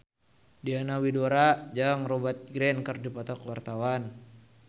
Diana Widoera jeung Rupert Grin keur dipoto ku wartawan